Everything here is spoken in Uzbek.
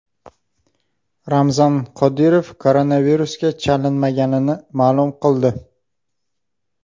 Ramzan Qodirov koronavirusga chalinmaganini ma’lum qildi.